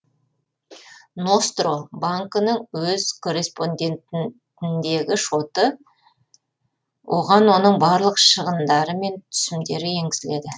ностро банкінің өз корреспондентіндегі шоты оған оның барлық шығындары мен түсімдері енгізіледі